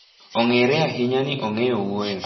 Ong'ere ahinya ni ong'eyo wuoyo.